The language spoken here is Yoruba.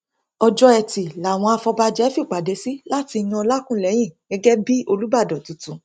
ọjọ etí làwọn afọbàjẹ fìpàdé sí láti yan ọlákùlẹhìn gẹgẹ bíi olùbàdàn tuntun